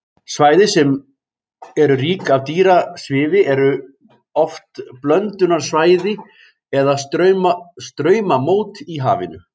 Svæði sem eru rík af dýrasvifi eru oft blöndunarsvæði eða straumamót í hafinu.